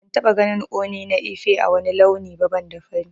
Ban taba ganin Ooni na Ife ã wani launi ba banda fari.